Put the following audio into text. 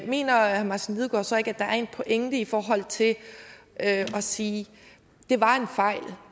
mener herre martin lidegaard så ikke at der er en pointe i forhold til at sige at det var en fejl